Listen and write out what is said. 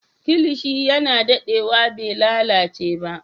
Kilishi yana daɗewa bai lalace ba.